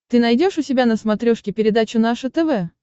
ты найдешь у себя на смотрешке передачу наше тв